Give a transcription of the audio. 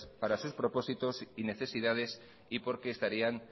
para sus propósitos y necesidades y porque estarían